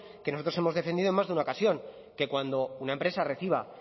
que nosotros hemos defendido en más de una ocasión que cuando una empresa reciba